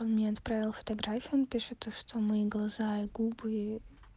он мне отправил фотографию он пишет то что мои глаза и губы